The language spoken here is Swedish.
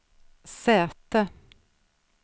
säte